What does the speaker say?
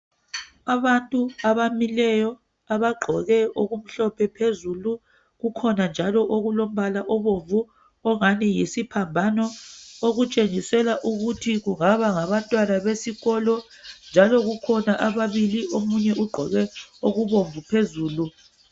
Abantu abamileyo abagqoke okumhlophe phezulu kukhona njalo okulombala obomvu ongani yisiphambano okutshengisela ukuthi kungaba ngabantwana besikolo njalo kukhona ababili omunye ugqoke okubomvu phezulu.